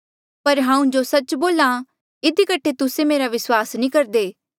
पर हांऊँ जो सच्च बोल्हा इधी कठे तुस्से मेरा विस्वास नी करदे